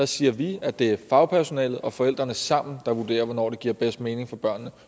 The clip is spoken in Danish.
siger vi at det er fagpersonalet og forældrene der sammen vurderer hvornår det giver bedst mening for børnene